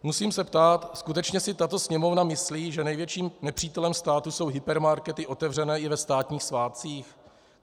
Musím se ptát: Skutečně si tato Sněmovna myslí, že největším nepřítelem státu jsou hypermarkety otevřené i ve státních svátcích?